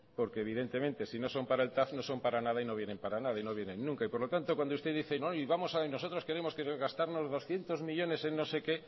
porque evidentemente si no son para el tav no son para nada y no vienen para nada y no vienen nunca y por lo tanto cuando usted dice no y nosotros queremos gastarnos doscientos millónes en no sé qué